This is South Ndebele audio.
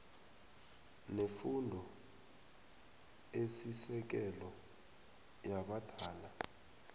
nefundo esisekelo yabadala